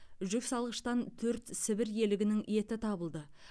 жүксалғыштан төрт сібір елігінің еті табылды